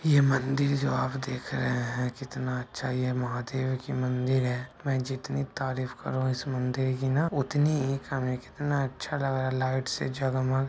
ये मंदिर जो आप देख रहे है कितना अच्छा ये महादेव की मंदिर है मै जितनी तारीफ करू इस मंदिर की ना उतनी ही कम है कितना अच्छा लग रहा है लाइट से जगमग।